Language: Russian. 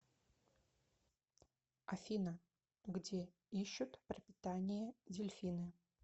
афина где ищут пропитание дельфины